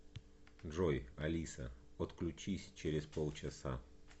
джой алиса отключись через полчаса